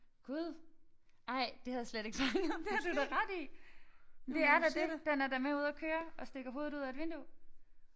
Gud ej det havde jeg slet ikke fanget det har du da ret i det er da det den er da med ude og køre og stikker hovedet ud af et vindue